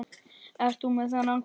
Ert þú með þennan hvolp?